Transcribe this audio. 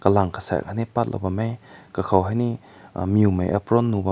mung kasek ne pat lao bam meh kakao hi ne mew nai apron nu bam meh.